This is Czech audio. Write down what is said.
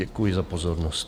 Děkuji za pozornost.